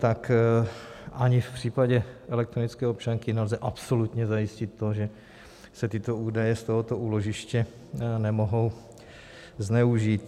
Takže ani v případě elektronické občanky nelze absolutně zajistit to, že se tyto údaje z tohoto úložiště nemohou zneužít.